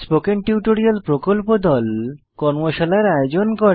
spoken tutorial প্রকল্প দল কর্মশালার আয়োজন করে